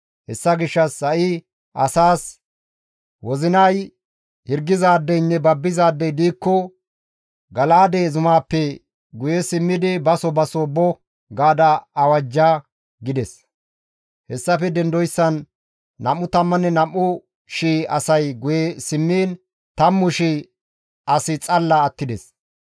Hessa gishshas ha7i asaas, ‹Wozinay hirgizaadeynne babbizaadey diikko Gala7aade zumaappe guye simmidi baso baso bo› gaada awajja» gides. Hessafe dendoyssan 22,000 asay guye simmiin 10,000 asi xalla attides.